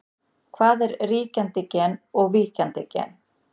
Hvað er ríkjandi gen og víkjandi gen?